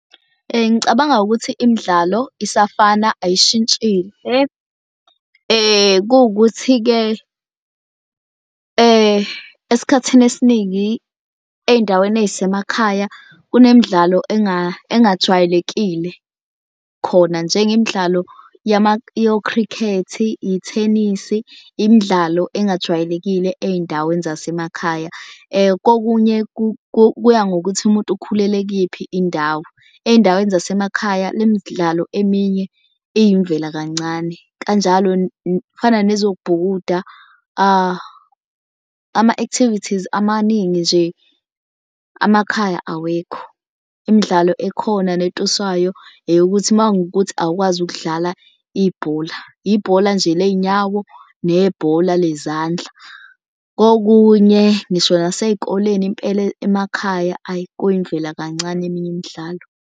Ngicabanga ukuthi imidlalo isafana ayishintshile kuwukuthi-ke esikhathini esiningi ey'ndaweni ey'semakhaya, kunemidlalo engajwayelekile khona njengemidlalo yo-cricket-i, ithenisi imidlalo engajwayelekile ey'ndaweni zasemakhaya. Kokunye kuya ngokuthi umuntu ukhulele kuyiphi indawo. Ey'ndaweni zasemakhaya le midlalo eminye iyimvela kancane, kanjalo kufana nezokubhukuda ama-activities amaningi nje amakhaya awekho. Imidlalo ekhona netuswayo eyokuthi uma kungukuthi awukwazi ukudlala ibhola, ibhola nje lezinyawo nebhola lezandla. Kokunye ngisho nasey'koleni impela emakhaya ayi kuyimvela kancane eminye imidlalo.